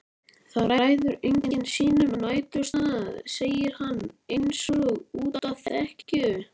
Það ræður enginn sínum næturstað, segir hann einsog útá þekju.